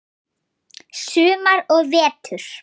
Sumar og vetur.